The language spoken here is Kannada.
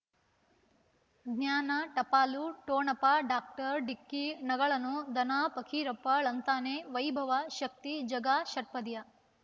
ಜ್ಞಾನ ಟಪಾಲು ಠೊಣಪ ಡಾಕ್ಟರ್ ಢಿಕ್ಕಿ ಣಗಳನು ಧನ ಫಕೀರಪ್ಪ ಳಂತಾನೆ ವೈಭವ್ ಶಕ್ತಿ ಝಗಾ ಷಟ್ಪದಿಯ